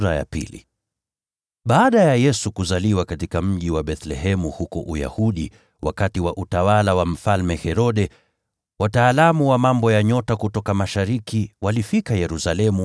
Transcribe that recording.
Baada ya Yesu kuzaliwa katika mji wa Bethlehemu huko Uyahudi, wakati wa utawala wa Mfalme Herode, wataalamu wa mambo ya nyota kutoka mashariki walifika Yerusalemu